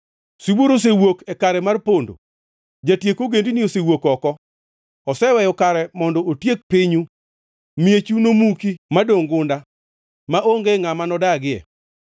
Sibuor osewuok e kare mar pondo; jatiek ogendini osewuok oko. Oseweyo kare mondo otiek pinyu. Miechu nomuki madongʼ gunda, maonge ngʼama nodagie.